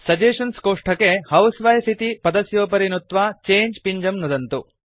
suggestions कोष्ठके housewife इति पदस्योपरि नुत्वा चङ्गे पिञ्जं नुदन्तु